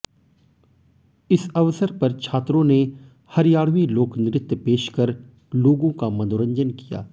इस अवसर पर छात्रों ने हरियाणवी लोकनृत्य पेश कर लोगों का मनोरंजन किया